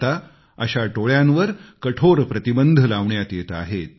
आता अशा टोळ्यांवर कठोर प्रतिबंध लावण्यात येत आहेत